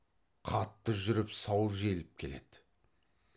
қатты жүріп сау желіп келеді